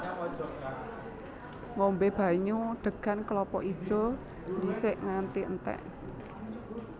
Ngombé banyu degan klapa ijo dhisik nganti entèk